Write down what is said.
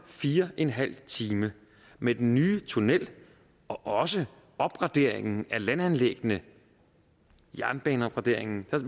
fire en halv time med den nye tunnel og også opgraderingen af landanlæggene jernbaneopgraderingen